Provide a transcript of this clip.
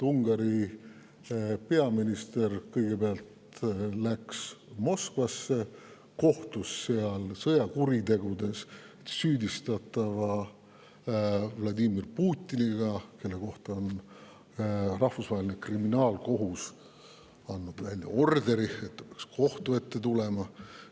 Ungari peaminister läks kõigepealt Moskvasse ja kohtus seal sõjakuritegudes süüdistatava Vladimir Putiniga, kelle kohta on Rahvusvaheline Kriminaalkohus andnud välja orderi, et ta peaks kohtu ette tulema.